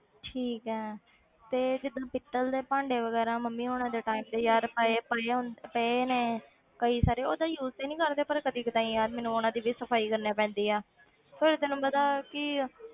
ਠੀਕ ਹੈ ਤੇ ਜਿੱਦਾਂ ਪਿੱਤਲ ਦੇ ਭਾਂਡੇ ਵਗ਼ੈਰਾ ਮੰਮੀ ਹੋਣਾਂ ਦੇ time ਦੇ ਯਾਰ ਪਏ ਪਏ ਹੁੰਦ~ ਪਏ ਨੇ ਕਈ ਸਾਰੇ ਉਹ ਏਦਾਂ use ਤੇ ਨੀ ਕਰਦੇ ਪਰ ਕਦੇ ਕਦਾਈ ਯਾਰ ਮੈਨੂੰ ਉਹਨਾਂ ਦੀ ਵੀ ਸਫ਼ਾਈ ਕਰਨੀ ਪੈਂਦੀ ਆ ਫਿਰ ਤੈਨੂੰ ਪਤਾ ਕਿ